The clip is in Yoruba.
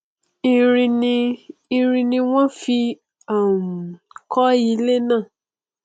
irin ni irin ni wọn fí um kọ ilé náà